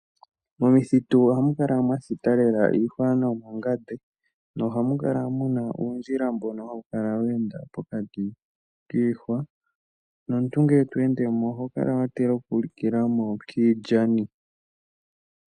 Momuthitu ohamu kala mwa thita lela iihwa nomangande. Ohamu kala muna uundjila mbono hawu kala wa enda pokati kiihwa nomuntu ngele to ende mo oho kala wa tila oku likila mo kiilyani.